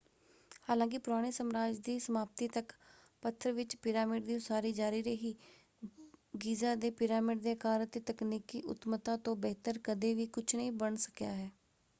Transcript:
ਹਾਲਾਂਕਿ ਪੁਰਾਣੇ ਸਮਰਾਜ ਦੀ ਸਮਾਪਤੀ ਤੱਕ ਪੱਥਰ ਵਿੱਚ ਪਿਰਾਮਿਡ ਦੀ ਉਸਾਰੀ ਜਾਰੀ ਰਹੀ ਗੀਜ਼ਾ ਦੇ ਪਿਰਾਮਿਡ ਦੇ ਆਕਾਰ ਅਤੇ ਤਕਨੀਕੀ ਉੱਤਮਤਾ ਤੋਂ ਬਿਹਤਰ ਕਦੇ ਵੀ ਕੁਝ ਨਹੀਂ ਬਣ ਸਕਿਆ ਹੈ।